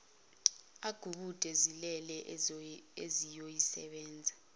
agubude zilele uzoyisebenza